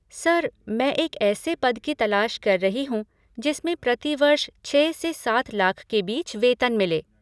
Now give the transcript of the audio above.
Sir, मैं एक ऐसे पद की तलाश कर रही हूँ जिसमें प्रति वर्ष छः से सात लाख के बीच वेतन मिले।